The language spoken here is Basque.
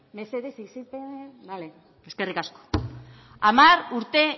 mesedez isiltzen zarete bale eskerrik asko hamar urte